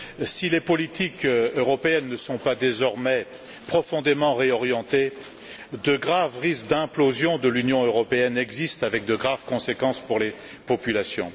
Si les politiques européennes ne sont pas désormais profondément réorientées, de graves risques d'implosion de l'Union européenne existent, avec de graves conséquences pour les populations.